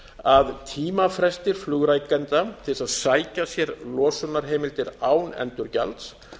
að tímafrestir flugrekenda til að sækja sér losunarheimildir án endurgjalds